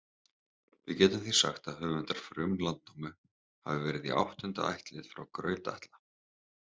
Við getum því sagt að höfundar Frum-Landnámu hafi verið í áttunda ættlið frá Graut-Atla.